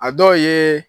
A dɔw ye